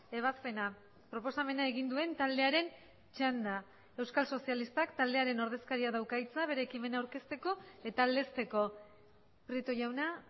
ebazpena proposamena egin duen taldearen txanda euskal sozialistak taldearen ordezkariak dauka hitza bere ekimena aurkezteko eta aldezteko prieto jauna